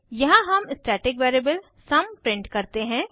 यहाँ हम static variable sum print करते हैं